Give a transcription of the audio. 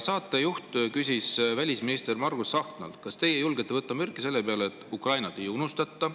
Saatejuht küsis välisminister Margus Tsahknalt: "Kas teie julgete võtta mürki selle peale, et Ukrainat ei unustata?